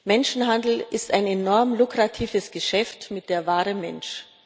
Menschenhandel ist ein enorm lukratives Geschäft mit der Ware Mensch.